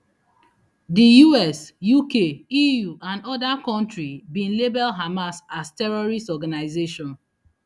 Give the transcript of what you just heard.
di us uk eu and oda kontri bin label hamas as terrorist organisation